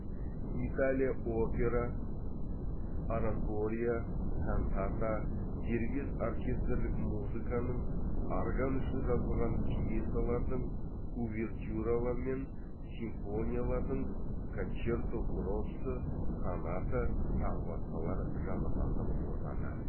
италия опера оратория кантата дербес оркестрлік музыканың орган үшін жазылған пьесалардың увертюралар мен симфониялардың кончерто гроссо соната тағы басқалар жанрлардың отаны